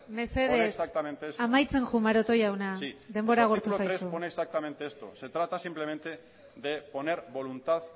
mesedez mesedez amaitzen joan maroto jauna denbora agortu zaizu sí se trata simplemente de poner voluntad